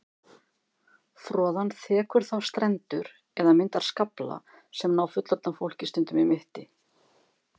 Froðan þekur þá strendur eða myndar skafla sem ná fullorðnu fólki stundum í mitti.